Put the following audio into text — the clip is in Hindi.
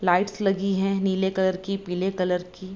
लाइट्स लगी है नीले कलर की पीले कलर की।